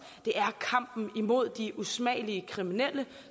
det er kampen imod de usmagelige kriminelle